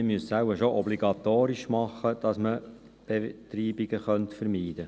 Wir müssten es wohl schon obligatorisch machen, um Betreibungen zu vermeiden.